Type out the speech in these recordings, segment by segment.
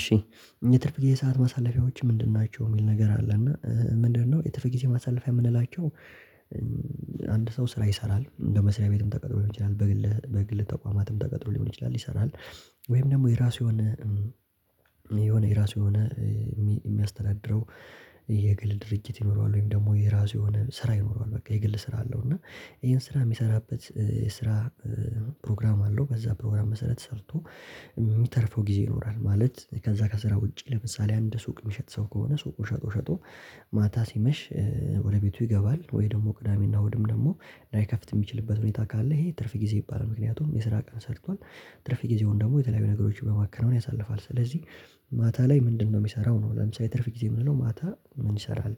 እሺ የትርፍ ጊዜ ሰዓት ማሳለፊያዎች ምንድን ናቸው የሚል ነገር አለ እና ምንድነው የትርፍ ጊዜ ማሳለፊያ የምንላቸው? አንድ ሰው ስራ ይሰራል እንደ መስሪያ ቤትም ተቀጥሮ ሊሆን ይችላል በግል በግል ተቋማትም ተቀጥሮ ሊሆን ይችላል ይሰራል ወይም ደግሞ የራሱ የሆነ የሆነ የራሱ የሆነ የሚያስተዳድረው የግል ድርጅት ይኖረዋል ወይም ደግሞ የራሱ የሆነ ስራ ይኖረዋል በቃ የግል ስራ አለው። እና ይሄን ስራ የሚሰራበት የስራ ፕሮግራም አለው በዛ ፕሮግራም መሰረት ሰርቶ የሚተርፈው ጊዜ ይኖራል። ማለት ከዛ ከስራ ውጪ ለምሳሌ አንድ ሱቅ የሚሸጥ ሰው ከሆነ ሱቁ ሸጦ ሸጦ ማታ ሲመሽ ወደ ቤቱ ይገባል ወይ ደግሞ ቅዳሜና እሁድም ደግሞ ላይከፍት የሚችልበት ሁኔታ ካለ ይሄ ትርፍ ጊዜ ይባላል። ምክንያቱም የስራ ቀን ሰርቷል ትርፍ ጊዜውን ደግሞ የተለያዩ ነገሮች በማከናወን ያሳልፋል። ስለዚህ ማታ ላይ ምንድነው የሚሰራው ነው ለምሳሌ ትርፍ ጊዜ የምንለው ማታ ምን ይሰራል?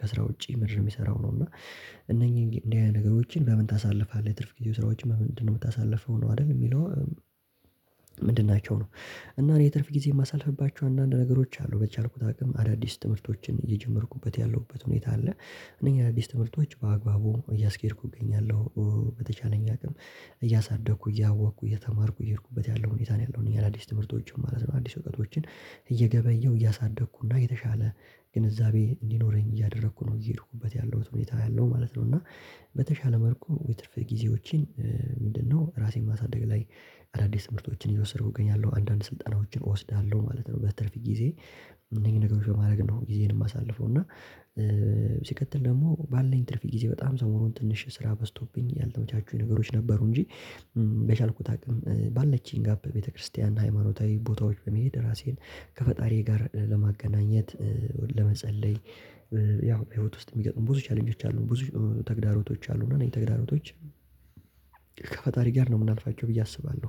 ከስራ ውጪ ምንድን የሚሰራው ነው? እና እነኚህን እንደዚህ አይነት ነገሮችን በምን ታሳልፋለህ የትርፍ ጊዜ ስራዎች ምንድነው የምታሳልፈው ነው አይደል የሚለው ምንድን ናቸው ነው? እና እኔ ትርፍ ጊዜ የማሳልፍባቸው አንዳንድ ነገሮች አሉ በቻልኩት አቅም አዳዲስ ትምህርቶችን እየጀመርኩበት ያለሁበት ሁኔታ አለ። እነኚህ አዳዲስ ትምህርቶች በአግባቡ እያስኬድኩ እገኛለሁ በተቻለኝ አቅም እያሳደኩ እያወቅኩ እየተማርኩ እየሄድኩበት ያለው ሁኔታ ነው ያለው እኛ አዳዲስ ትምህርቶችን ማለት ነው አዲስ እውቀቶችን እየገበየሁ እያሳደግኩና የተሻለ ግንዛቤ እንዲኖረኝ እያደረኩ ነው እየሄድኩበት ያለሁት ሁኔታ ያለው ማለት ነው። እና በተሻለ መልኩ የትርፍ ጊዜዎችን ምንድነው ራሴን ማሳደግ ላይ አዳዲስ ትምህርቶችን እየወሰድሁ እገኛለሁ አንዳንድ ስልጣኖችን እወስዳለሁ ማለት ነው። በትርፍ ጊዜ እነዚህን ነገሮች በማድረግ ነው ጊዜን የማሳልፈው እና ሲቀጥል ደግሞ ባለን ትርፊ ጊዜ በጣም ዘመሩን ትንሽ ስራ በዝቶብኝ ያልተመቻችሁኝ ነገሮች ነበሩ። እንጂ በቻልኩት አቅም ባለችኝ ጋር በቤተክርስቲያና ሃይማኖታዊ ቦታዎች በሚሄድ ራሴን ከፈጣሪ ጋር ለማገናኘት ለመጸለይ ያው ህይወት ውስጥ የሚገጥሙ ብዙ ቻሌንጆች አሉ ብዙ ተግዳሮቶች አሉ። እና እኔ ተግዳሮቶች ከፈጣሪ ጋር ነው የምናልፋቸው ብዬ አስባለሁ።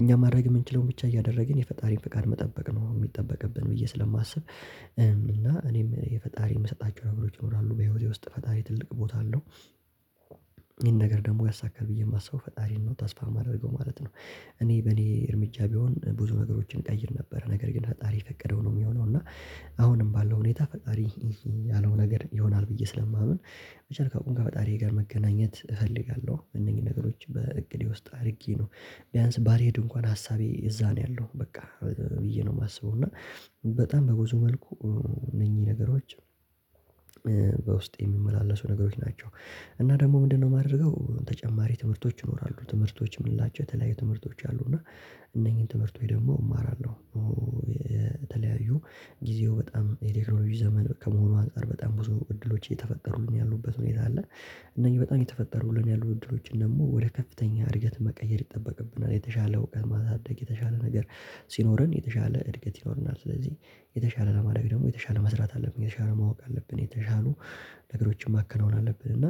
እኛ ማድረግ የምንችለውን ብቻ እያደረግን የፈጣሪን ፍቃድ መጠበቅ ነው የሚጠበቅብን ብዬ ስለማስብ እና እኔም የፈጣሪ የምሰጣቸው ነበሮች ይኖራሉ በህይወቴ ውስጥ ፈጣሪ ትልቅ ቦታ አለው። ይሄን ነገር ደግሞ ያሳካል ብዬ የማስበው ፈጣሪን ነው ታስፋ የማደርገው ማለት ነው። እኔ በኔ እርምጃ ቢሆን ብዙ ነገሮችን ቀይር ነበር ነገር ግን ሀጣሪ ፈቀደው ነው። የሚሆነው እና አሁንም ባለው ሁኔታ ፈጣሪ ያለው ነገር ይሆናል ብዬ ስለማምን በቻልሁት አቅም ከፈጣሪ ጋር መገናኘት እፈልጋለሁ። እነኚህ ነገሮች በእቅዴ ውስጥ አድርጌ ነው ቢያንስ ባልሄድ እንኳን ሀሳቤ እዛ ነው ያለው በቃ ብዬ ነው የማስበው እና በጣም በጉዞ መልኩ እነኚህ ነገሮች በውስጤ የሚመላለሱ ነገሮች ናቸው። እና ደግሞ ምንድነው የማደርገው ተጨማሪ ትምህርቶች ይኖራሉ ትምህርቶች የምንላጨው የተለያየ ትምህርቶች አሉ። እና እነኚህን ትምህርቶች ደግሞ እማራለሁ በተለያዩ ጊዜው በጣም የኔግሮሎጂ ዘመን ከመሆኑ አንፃር በጣም ብዙ እድሎች እየተፈጠሩን ያሉበት ሁኔታ አለ። እነኝህ በጣም የተፈጠሩልን ያሉት እድሎችን ደግሞ ወደ ከፍተኛ እድገት መቀየር ይጠበቅብናል የተሻለ እውቀት ማሳደግ የተሻለ ነገር ሲኖረን የተሻለ እድገት ይኖርናል። ስለዚህ የተሻለ ለማድረግ ደግሞ የተሻለ መስራት አለብን የተሻለ ማወቅ አለብን የተሻሉ ነገሮችን ማከናወን አለብን። እና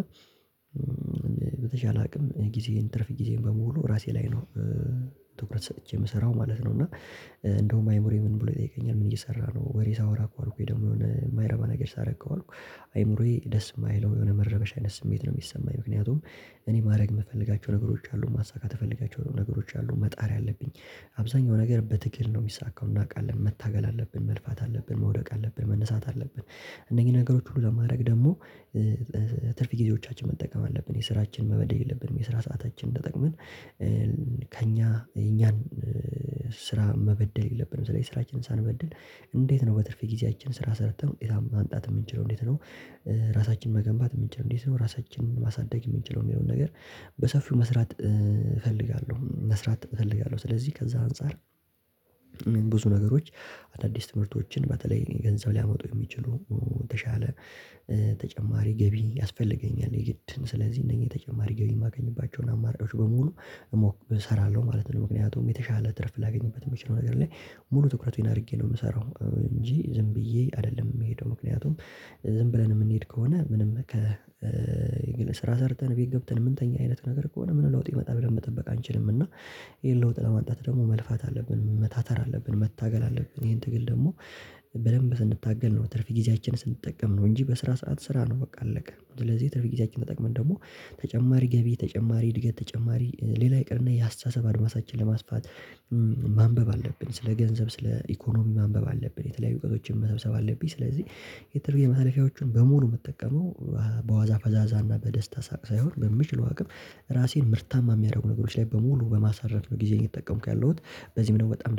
በተቻለ አቅም ጊዜን ትርፍ ጊዜን በሙሉ ራሴ ላይ ነው ትኩረት ሰጥቼ የምሰራው ማለት ነው። እና እንደውም አይምሮየ ምን ብሎ ይጠይቀኛል ምን እየሰራ ነው? ወሬ ሳወራ እንኳን ወይ ደግሞ የሆነ የማይረባ ነገር ሳረግ አልኩኝ አይምሮዬ ደስ የማይለው የሆነ መረበሽ አይነት ስሜት ነው። የሚሰማኝ ምክንያቱም እኔ ማድረግ የምፈልጋቸው ነገሮች አሉ ማሳካት የፈለጋቸው ነገሮች አሉ። መጣር ያለብኝ አብዛኛው ነገር በትግል ነው የሚሳካው እናውቃለን መታገል አለብን መልፋት አለብን መውደቅ አለብን መነሳት አለብን። እነዚህ ነገሮች ሁሉ ለማድረግ ደግሞ ትርፍ ጊዜዎቻችን መጠቀም አለብን የስራችን መበደል የለብንም የስራ ሰዓታችን ተጠቅመን ከእኛ እኛን ስራ መበደል የለብንም። ስራችንን ሳንበድል እንዴት ነው በትርፍ ጊዜያችን ስራ ሰርተን ውጤታማ ማምጣት የምንችለው እንዴት ነው? ራሳችንን መገንባት የምንችለው እንዴት ነው? ራሳችንን ማሳደግ የምንችለው የሚለውን ነገር በሰፊው መስራት እፈልጋለሁ መስራት እፈልጋለሁ። ስለዚህ ከዛ አንፃር ብዙ ነገሮች አዳዲስ ትምህርቶችን በተለይ ገንዘብ ሊያመጡ የሚችሉ የተሻለ ተጨማሪ ገቢ ያስፈልገኛል የግድም ስለዚህ እነኚህ ተጨማሪ ገቢ የማገኝባቸውን አማራጮች በሙሉ እሞክር እሰራለሁ ማለት ነው። ምክንያቱም የተሻለ ትርፍ ላገኝበት የሚችለው ነገር ላይ ሙሉ ትኩረቱን አድርጌ ነው የምሰራው እንጂ ዝም ብዬ አይደለም የምሄደው ምክንያቱም ዝም ብለን የምንሄድ ከሆነ ምንም ከ ስራ ሰርተን ቤት ገብተን የምንተኛ አይነት ነገር ከሆነ ምን ለውጥ ይመጣል? መጠበቅ አንችልም እና ይሄን ለውጥ ለማጣት ደግሞ መልፋት አለብን መታተር አለብን መታገል አለብን ይሄን ትግል ደግሞ በደንብ ስንታገል ነው ትርፍ ጊዜያችን ስንጠቀም ነው። እንጂ በስራ ሰዓት ስራ ነው በቃ አለቀ ስለዚህ ትርፍ ጊዜያችን ተጠቅመን ደግሞ ተጨማሪ ገቢ ተጨማሪ እድገት ተጨማሪ ሌላ ይቅርና የአስተሳሰብ አድማሳችን ለማስፋት ማንበብ አለብን ስለ ገንዘብ ስለ ኢኮኖሚ ማንበብ አለብን። የተለያዩ እውቀቶችን መሰብሰብ አለብኝ ስለዚህ የተረገኝ መሳለፊያዎችን በሙሉ የምትጠቀመው በዋዛ ፈዛዛ እና በደስታ ሳቅ ሳይሆን በምችለው አቅም ራሴን ምርታማ የሚያደርጉ ነገሮች ላይ በሙሉ በማሳረፍ ነው ጊዜን የተጠቀምኩ ያለሁት። በዚህም ደግሞ በጣም